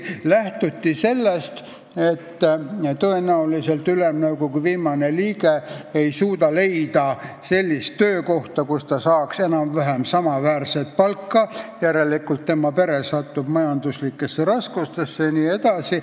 Lähtuti sellest, et tõenäoliselt endine Ülemnõukogu liige ei suuda leida sellist töökohta, kus ta saaks enam-vähem samaväärset palka, järelikult tema pere satub majanduslikesse raskustesse jne.